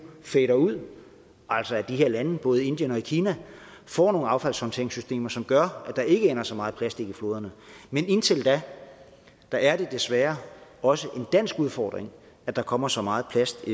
fader ud altså at de her lande både indien og kina får nogle affaldshåndteringssystemer som gør at der ikke ender så meget plastik i floderne men indtil da er det desværre også en dansk udfordring at der kommer så meget plast